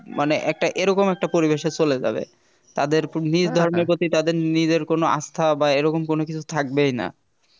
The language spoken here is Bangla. মানে একটা এরকম একটা পরিবেশে চলে যাবে তাদের নিজ ধর্মের প্রতি তাদের নিজের কোন আস্থা বা এরকম কোন কিছু থাকবেই না